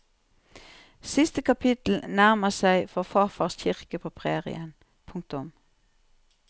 Siste kapittel nærmer seg for farfars kirke på prærien. punktum